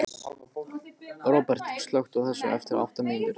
Róbert, slökktu á þessu eftir átta mínútur.